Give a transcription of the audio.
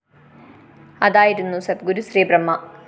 അതായിരുന്നു സദ്ഗുരു ശ്രീ ബ്രഹ്മ